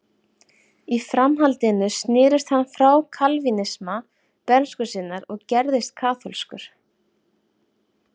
Í framhaldinu snerist hann frá kalvínisma bernsku sinnar og gerðist kaþólskur.